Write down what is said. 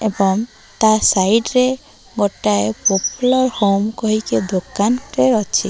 ଏବଂ ତା ସାଇଟ ରେ ଗୋଟାଏ ପୋପ୍ଲର୍ ହୋମ୍ କହିକି ଦୋକାନଟେ ଅଛି।